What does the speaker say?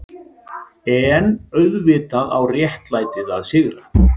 EN auðvitað á réttlætið að sigra.